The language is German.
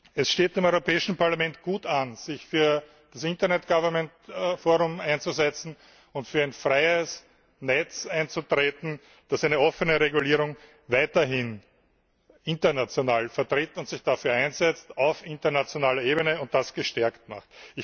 Es steht dem Europäischen Parlament gut an, sich für das Internet Governance Forum einzusetzen und für ein freies Netz einzutreten, das weiterhin eine offene Regulierung international vertritt und sich dafür einsetzt, auf internationaler Ebene, und das verstärkt macht.